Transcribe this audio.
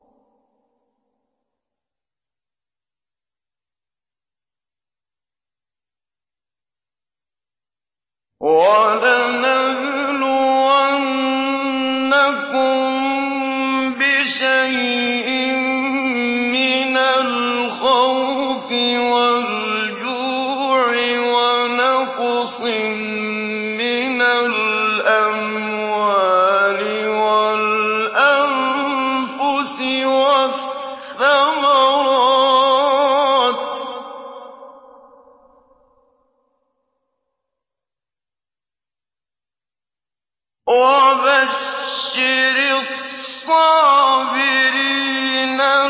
وَلَنَبْلُوَنَّكُم بِشَيْءٍ مِّنَ الْخَوْفِ وَالْجُوعِ وَنَقْصٍ مِّنَ الْأَمْوَالِ وَالْأَنفُسِ وَالثَّمَرَاتِ ۗ وَبَشِّرِ الصَّابِرِينَ